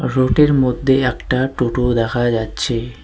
রোডের মধ্যে একটা টোটো দেখা যাচ্ছে।